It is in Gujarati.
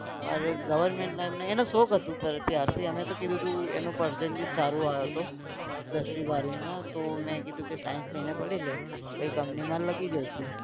મારે goverment line માં એને શોખ હતું પહેલેથી ત્યારથી. અમે તો કીધું તું percentage સારો આવ્યો હતો દસમી બારમી માં તો મે કીધું કે science લઈને ભણી લઈ કોઈ company માં લગી જશે